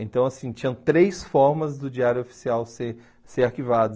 Então, assim, tinham três formas do Diário Oficial ser ser arquivado.